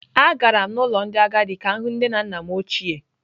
Agara m n’ụlọ ndị agadi ka m hụ nne na nna m ochie.